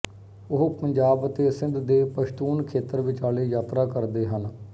ਉਹ ਪੰਜਾਬ ਅਤੇ ਸਿੰਧ ਦੇ ਪਸ਼ਤੂਨ ਖੇਤਰ ਵਿਚਾਲੇ ਯਾਤਰਾ ਕਰਦੇ ਹਨ